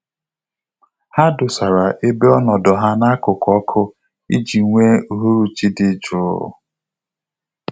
Ha dosara ebe ọnọdụ na-akuku ọkụ iji nwe uhuruchi dị jụụ